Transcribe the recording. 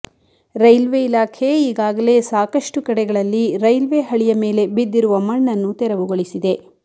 railway ಇಲಾಖೆ ಈಗಾಗಲೇ ಸಾಕಷ್ಟು ಕಡೆಗಳಲ್ಲಿ ರೈಲ್ವೆ ಹಳಿಯ ಮೇಲೆ ಬಿದ್ದಿರುವ ಮಣ್ಣನ್ನು ತೆರವುಗೊಳಿಸಿದೆ